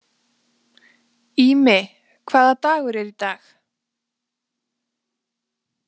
Ími, hvaða dagur er í dag?